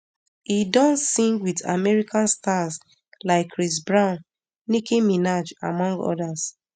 e don sing wit american stars like chris brown nicki minaj among odas